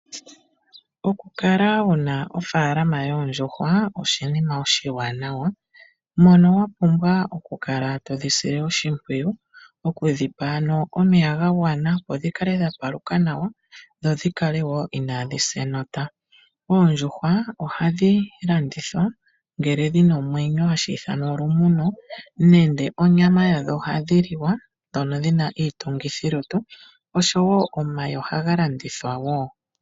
Okukala wuna ofaalama yoondjuhwa oshinima oshiwanawa mono wa pumbwa oku kala todhi sile oshimpwiyu okudhi pa ano omeya ga gwana opo dhi kale dha paluka dho dhi kale wo inaadhi sa enota Oondjuhwa ohadhi landithwa ngele dhina omwenyo hashi ithanwa olumuno nenge onyama yadho ohayi liwa ndjono yina iitungithilutu oshowo omayi ohaga landithwa wo.